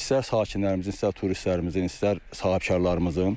İstər sakinlərimizin, istər turistlərimizin, istər sahibkarlarımızın